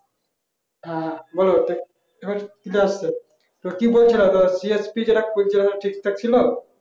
হ্যাঁ বোলো আবার clear আসছে তো কি বলছিলা তো CSP যেটা করছিল ওটা ঠিকঠাক ছিল